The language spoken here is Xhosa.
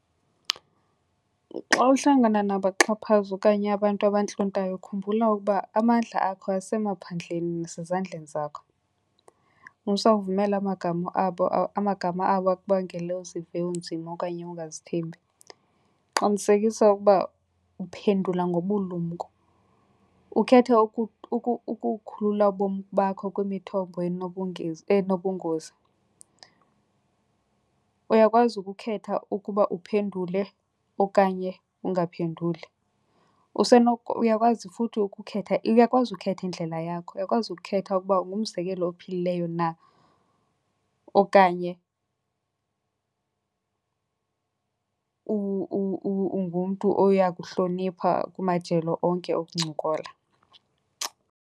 Xa uhlangana nabaxhaphazi okanye abantu abantlontayo khumbula ukuba amandla akho asemaphandleni nasezandleni zakho. Musa ukuvumela amagama abo akubangele uzive unzima okanye ungazithembi. Qinisekisa ukuba uphendula ngobulumko ukhethe ukukhulula ubomi bakho kwimithombo enobungozi. Uyakwazi ukukhetha ukuba uphendule okanye ungaphenduli. Uyakwazi futhi ukukhetha, uyakwazi futhi ukukhetha uyakwazi ukhetha indlela yakho uyakwazi ukukhetha ukuba ngumzekelo ophilileyo na okanye ungumntu oya kuhlonipha kumajelo onke okuncokola.